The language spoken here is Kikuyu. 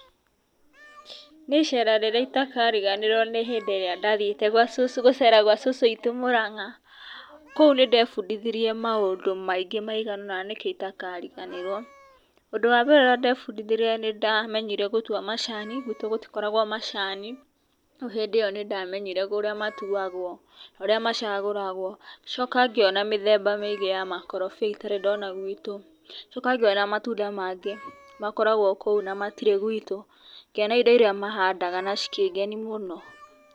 Niĩ icera rĩrĩa itakariganĩrwo nĩ hĩndĩ ĩrĩa ndathiĩte gũcera gwa cũcũ witũ Mũrang'a. Kũu nĩ ndebundithirie maũndũ maingĩ maigana ona nikio itakariganĩrwo. Ũndũ wa mbere ũrĩa ndebundithirie nĩ ndamenyire gũtua macani, gwitũ gũtikoragwo macani, rĩu hĩndĩ ĩo nĩ ndamenyire ũrĩa matuagwo na ũrĩa macagũragwo, ngĩcoka ngĩona mĩthemba mĩingĩ ya makorobia itarĩ ndona gwitũ, ngĩcoka ngĩona matunda mangĩ makoragwo kũu na matirĩ gwitũ, ngĩona indo iria mahandaga na cikĩngeni mũno.